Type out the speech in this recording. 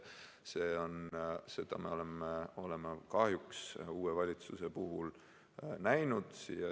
Seda me oleme kahjuks uue valitsuse puhul näinud.